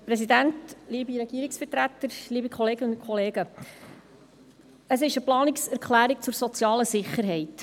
Es ist eine Planungserklärung zur sozialen Sicherheit.